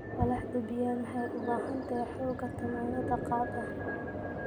Walaxda bean waxay u baahan tahay xoogaa dammaanad qaad ah.